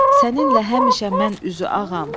Səninlə həmişə mən üzü ağam.